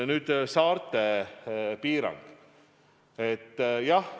Nüüd saarte piirangust.